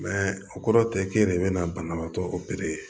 o kɔrɔ tɛ k'e de bɛ na banabaatɔ opere